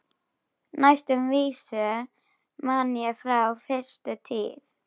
Næstu vísu man ég frá fyrstu tíð.